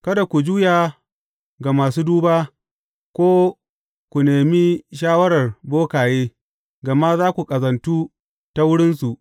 Kada ku juya ga masu duba, ko ku nemi shawarar bokaye, gama za ku ƙazantu ta wurinsu.